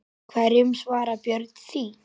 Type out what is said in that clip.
Hverju svarar Björn því?